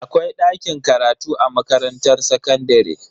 Akwai dakin karatu a makarantar sakandare.